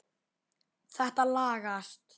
Þetta lagast.